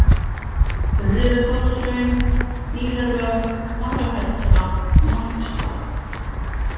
Urriðakotshraun, Hlíðarvötn, Hafrafellsvatn, Marksvatn